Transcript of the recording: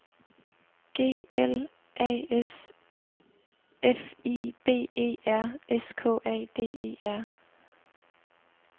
G L A S F I B E R S K A D E R